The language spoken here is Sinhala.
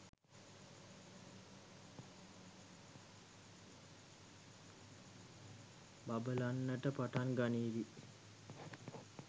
බබලන්නට පටන් ගනීවි.